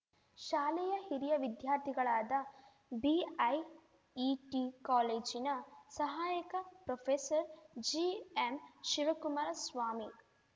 ಶಾಲೆಯ ಹಿರಿಯ ವಿದ್ಯಾರ್ಥಿಗಳಾದ ಬಿಐಇಟಿ ಕಾಲೇಜಿನ ಸಹಾಯಕ ಪ್ರೊಫೆಸರ್‌ ಜಿಎಂಶಿವಕುಮಾರ ಸ್ವಾಮಿ